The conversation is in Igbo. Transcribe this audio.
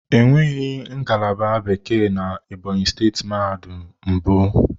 Enweghị ngalaba Bekee na Ebonyi steeti mahadum mbụ.